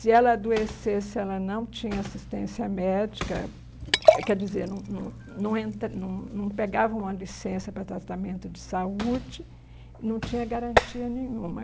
Se ela adoecesse, ela não tinha assistência médica, é, quer dizer, não não não entra não não pegava uma licença para tratamento de saúde, não tinha garantia nenhuma.